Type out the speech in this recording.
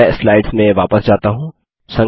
मैं स्लाइड्स में वापस जाता हूँ